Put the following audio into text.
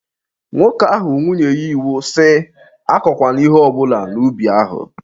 Nwoke ahụ nwunye ya iwu sị, Akọkwana ihe ọbụla n'ubi ahụ!